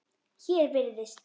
Hér virðist